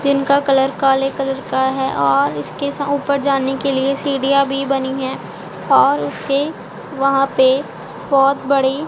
tin का कलर colour colour का है और इसके सा ऊपर जाने के लिए सीढ़ियां भी बनी है और उसके वहां पे बहोत बड़ी--